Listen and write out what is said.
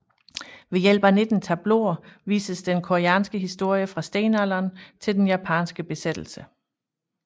Ved hjælp af 19 tableauer vises den koreanske historie fra stenalderen til den japanske besættelse